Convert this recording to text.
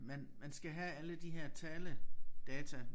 Man man skal have alle de her taledata